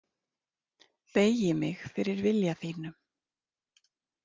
Beygi mig fyrir vilja þínum.